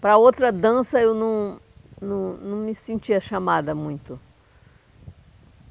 Para outra dança, eu não não não me sentia chamada muito.